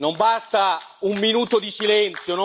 Non basta un minuto di silenzio!